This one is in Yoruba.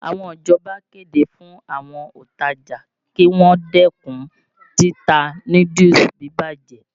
Àwọn ìjọba kéde fún àwọn òntajà kí wọ́n dẹ́kun títa núdúùsù bíbàjẹ́.